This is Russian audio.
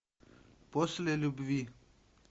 после любви